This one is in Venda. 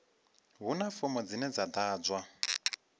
huna fomo dzine dza ḓadzwa